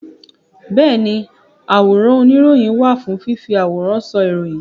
Bẹ́ẹ̀ni àwòrán oníròyìn wà fún fífi àwòrán sọ ìròyìn